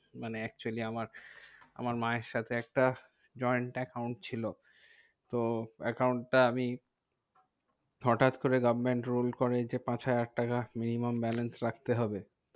মানে actually আমার আমার মায়ের সাথে একটা joint account ছিল। তো account টা আমি হটাৎ করে government rule করে যে, পাঁচ হাজার টাকা minimum balance রাখতে হবে।